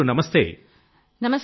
పూనమ్ గారు నమస్తే |